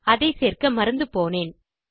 அதை சேர்க்க மறந்து போனேன்